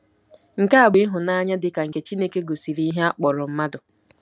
Nke a bụ ịhụnanya dị ka nke Chineke gosiri ihe a kpọrọ mmadụ.